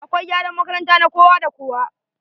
Akwai gyaran makaranta na kowa da kowa.